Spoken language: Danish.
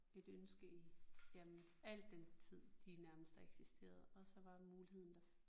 Et ønske i jamen al den tid de nærmest har eksisteret og så var muligheden der